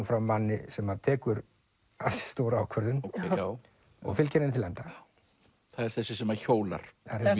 fram manni sem tekur ansi stóra ákvörðun og fylgir henni til enda það er þessi sem að hjólar